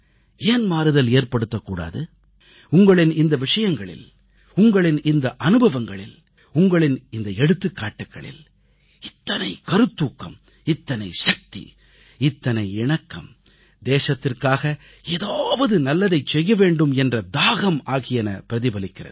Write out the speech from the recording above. ஏன் மாறுதல் ஏற்படுத்தக் கூடாது உங்களின் இந்த விஷயங்களில் உங்களின் இந்த அனுபவங்களில் உங்களின் இந்த எடுத்துக்காட்டுக்களில் இத்தனை கருத்தூக்கம் இத்தனை சக்தி இத்தனை இணக்கம் தேசத்திற்காக ஏதாவது நல்லதைச் செய்ய வேண்டும் என்ற தாகம் ஆகியன பிரதிபலிக்கிறது